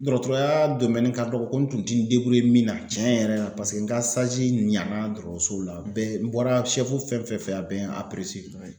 Dɔrɔtɔrɔya ka dɔgɔ ko n tun tɛ n min na cɛn yɛrɛ la paseke n ka ɲana dɔrɔtɔrɔsow la bɛɛ n bɔra fɛn fɛn fɛ a bɛɛ ye n